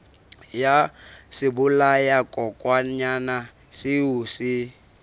ya sebolayakokwanyana seo o se